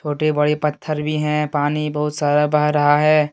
छोटे बड़े पत्थर भी हैं पानी बहुत सारा बह रहा है।